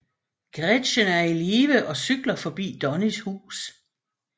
Gretchen er i live og cykler forbi Donnies hus